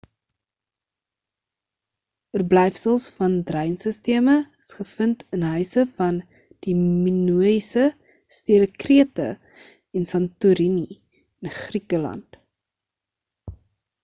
oorblyfsels van dreinsisteme is gevind in huise van die minoïese stede krete en santorini in griekeland